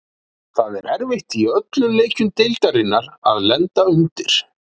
Það er erfitt í öllum leikjum deildarinnar að lenda undir.